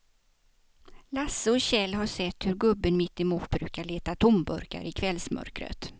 Lasse och Kjell har sett hur gubben mittemot brukar leta tomburkar i kvällsmörkret.